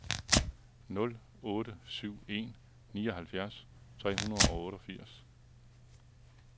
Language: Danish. nul otte syv en nioghalvfjerds tre hundrede og otteogfirs